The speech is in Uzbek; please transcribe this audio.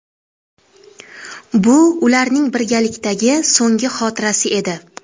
Bu ularning birgalikdagi so‘nggi xotirasi edi.